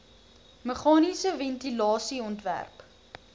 meganiese ventilasie ontwerp